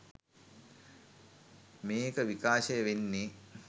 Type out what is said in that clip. මේක විකාශය වෙන්නේ.